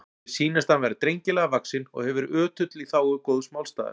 Mér sýnist hann vera drengilega vaxinn og hefur verið ötull í þágu góðs málstaðar.